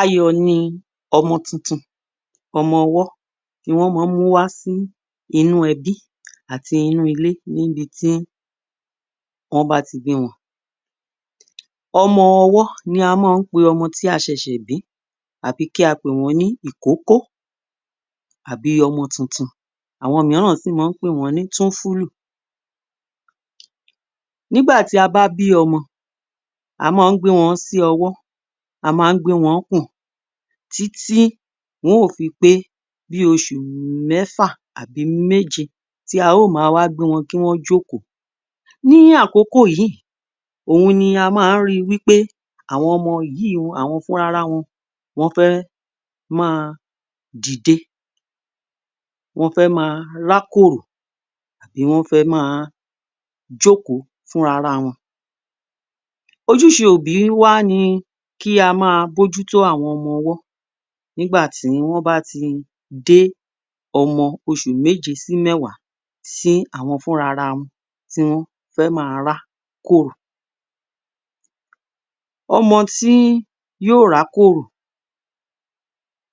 Ayọ̀ ni ọmọ tuntun, ọmọ ọwọ́ ni wọ́n máa ń múwá sí inú ẹbí àti inú ilé níbi tí wọ́n bá ti bí wọn. ọmọ ọwọ́ ni wọ́n máa ń pe ọmọ tí a ṣẹ̀ṣẹ̀ bí tàbí kí a pè wọ́n ní ìkókó àbí ọmọ tuntun àwọn mìíràn sì máa ń pè wọ́n ní túnfúlù. Nígbà tí a bá bí ọmọ, a máa ń gbé wọn sí ọwọ́, a máa ń gbé wọn pọ̀n títí wọn ó fi pé oṣù mẹ́fà àbí oṣù méje tí a ó máa wá gbé wọn kí wọn ó jókòó. Ní àkókò yìí, òun ni a máa ń ri wí pé àwọn ọmọ yìí, àwọn fúnrara wọn, wọ́n fẹ́ máa dìde, wọ́n fẹ́ máa rákòrò, wọ́n fẹ́ máa jókòó fúrara wọn. Ojúṣe òbí wá ni kí a máa bójútó àwọn ọmọ ọwọ́ nígbà tí wọ́n bá ti dé ọmọ oṣù méje sí mẹ́wàá tí àwọn funrara wọn tí wọ́n fẹ́ máa rá kòrò. ọmọ tí yóò rá kòrò,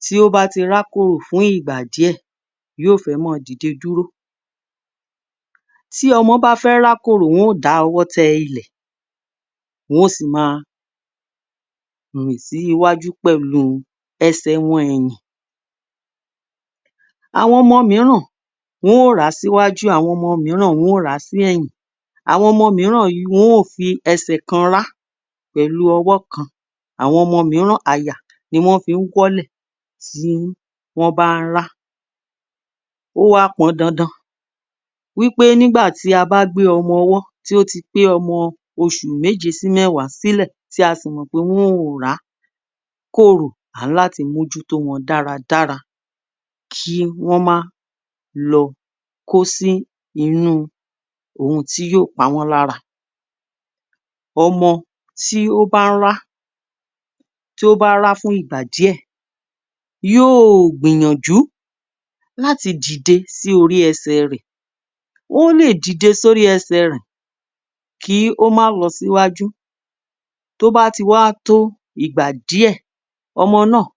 tí ó bá ti rá kòrò fún ìgbà díẹ̀, yóò fẹ́ máa dìde dúró. Tí ọmọ bá fẹ́ rá kòrò yóò dáwọ́ tẹ ilẹ̀, wọ́n ó sì máa rìn sí iwájú pẹ̀lú ẹsẹ̀ wọn rìn. Àwọn ọmọ mìíràn wọ́n ó rá síwájú àwọn ọmọ mìíràn wọ́n ó rà á sí ẹ̀yìn, àwọn ọmọ mìíràn wọn ó fi ẹsẹ̀ kan rá pẹ̀lú ọwọ́ kan, àwọn ọmọ mìíràn àyà ni wọ́n fi ń wọ́lẹ̀ tí wọ́n bá ń rá. Ó wá pọn dandan wí pé nígbà tí a bá gbé ọmọ ọwọ́ tí ó ti pé ọmọ oṣù méje sí mẹ́wàá sílẹ̀ tí a sì mọ̀ pé wọn ò rá kòrò, a ní láti mójútó wọn dáradára kí wọ́n má lọ kó sí inú ohun tí yóò pa wọ́n lára. ọmọ tí ó bá ń rá, tí ó bá rá fún ìgbà díẹ̀ yóò gbìyànjú láti dìde sí orí ẹsẹ̀ rẹ̀, ó lè dìde sí orí ẹsẹ̀ rẹ̀ kí ó má lọ sí wájú, toh bá ti wá tó ìgbà díẹ̀ ọmọ náà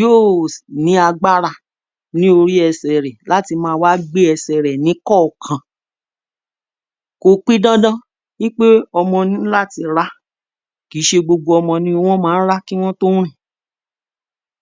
yóò ní agbára ní orí ẹsẹ̀ rẹ̀ láti wá a má gbé ẹsẹ̀ rẹ̀ ní kọ̀ọ̀kan. Kò pi dandan wí pé ọmọ ní láti rá. Kì í ṣe gbogbo ọmọ ni wọ́n máa ń ra kí wọ́n tó rìn.